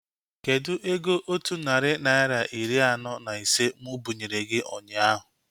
Kedụ ego otu narị naira iri anọ na ise mụ binyere gị ụnyaahụ?